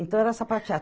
Então era sapatear.